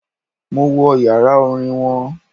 Mo wo yàrá Orin won